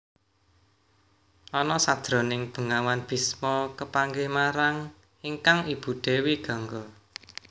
Ana sajroning bengawan Bisma kepanggih marang ingkang ibu Dewi Gangga